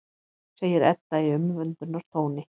segir Edda í umvöndunartóni.